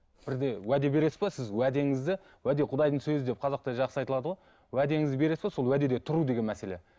бірде уәде бересіз бе сіз уәдеңізді уәде құдайдың сөзі деп қазақта жақсы айтылады ғой уәдеңізді бересіз бе сол уәдеде тұру деген мәселе